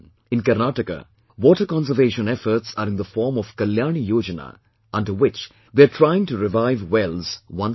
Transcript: In Karnataka water conservation efforts are in the form of 'Kalyani Yojana', under which they are trying to revive wells once again